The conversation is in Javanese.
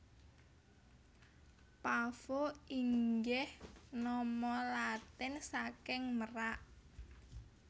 Pavo inggih nama Latin saking merak